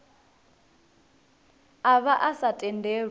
a vha a sa tendelwi